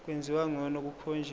kwenziwa ngcono kukhonjiswa